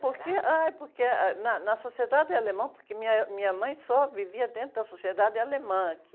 Porque, ai, porque ah, na, na sociedade alemã, porque minha, minha mãe só vivia dentro da sociedade alemã aqui.